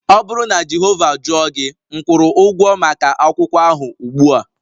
Ọ bụrụ na Jehova jụọ gị, m kwụrụ ụgwọ maka akwụkwọ ahụ ugbua